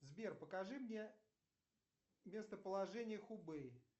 сбер покажи мне местоположение хубэй